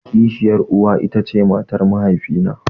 Kishiyar uwa ita ce matar mahaifi na.